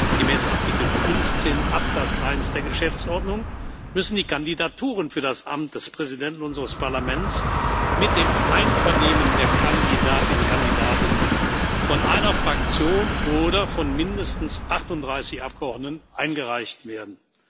Gemäß Artikel 15 Absatz 1 der Geschäftsordnung müssen die Kandidaturen für das Amt des Präsidenten unseres Parlaments mit dem Einvernehmen der Kandidatinnen und Kandidaten von einer Fraktion oder von mindestens 38 Abgeordneten eingereicht werden.